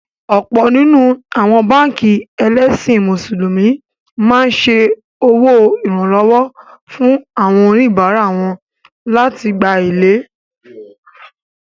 Ọ̀pọ̀ nínú àwọn báànkì ẹlẹ́sìn Mùsùlùmí máa ń ṣe owó Ìrànwọ́ fún àwọn oníbárá wọn lai gbá èlé